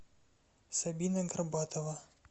сабина горбатова